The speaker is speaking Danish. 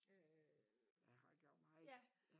Øh jeg har gjort meget